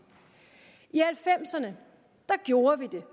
i nitten halvfemserne gjorde vi det